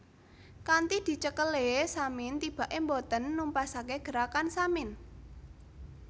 Kanthi dicekelé Samin tibaké boten numpesake Gerakan Samin